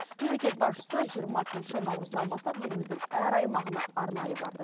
мемлекет басшысы жиырмасыншы наурыздан бастап еліміздің әр аймағына арнайы барды